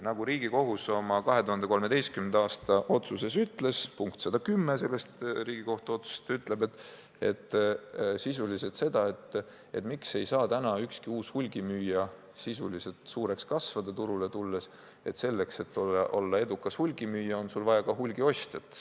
Nagu Riigikohus oma 2013. aasta otsuses ütles – seda ütleb selle otsuse punkt 110 –: ükski uus hulgimüüja ei saa turule tulles enam suureks kasvada, sest selleks, et olla edukas hulgimüüja, on sul vaja ka hulgiostjat.